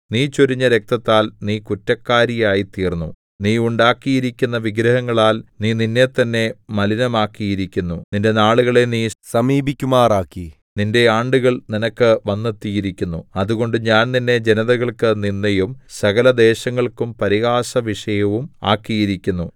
നീ ചൊരിഞ്ഞ രക്തത്താൽ നീ കുറ്റക്കാരിയായിത്തീർന്നു നീ ഉണ്ടാക്കിയിരിക്കുന്ന വിഗ്രഹങ്ങളാൽ നീ നിന്നെത്തന്നെ മലിനമാക്കിയിരിക്കുന്നു നിന്റെ നാളുകളെ നീ സമീപിക്കുമാറാക്കി നിന്റെ ആണ്ടുകൾ നിനക്ക് വന്നെത്തിയിരിക്കുന്നു അതുകൊണ്ട് ഞാൻ നിന്നെ ജനതകൾക്കു നിന്ദയും സകലദേശങ്ങൾക്കും പരിഹാസവിഷയവും ആക്കിയിരിക്കുന്നു